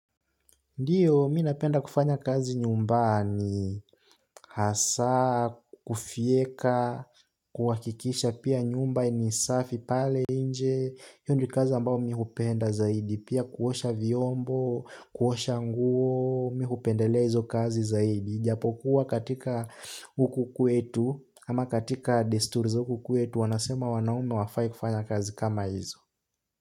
Ndiyo, mi napenda kufanya kazi nyumbani, hasa, kufyeka, kuhakikisha pia nyumba ni safi, pale nje, hiyo ndio kazi ambao mi hupenda zaidi, pia kuosha vyombo, kuosha nguo, mi hupendelea hizo kazi zaidi. Japokuwa katika huku kwetu, ama katika desturi za huku kwetu, wanasema wanaume hawafai kufanya kazi kama hizo.